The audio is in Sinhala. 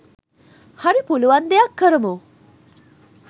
හරි පුලුවන් දෙයක් කරමු